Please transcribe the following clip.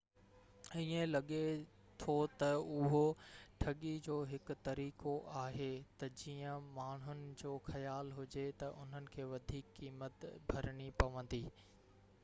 ائين لڳي ٿو تہ اهو ٺڳي جو هڪ طريقو آهي تہ جيئن ماڻهن جو خيال هجي تي انهن کي وڌيڪ قيمت ڀرڻي پوندي